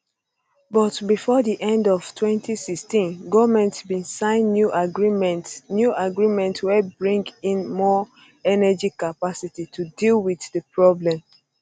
but bifor di end of 2016 goment bin sign new agreements new agreements wey bring in more energy capacity to deal wit di problem